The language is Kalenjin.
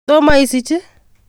Tomo isich i?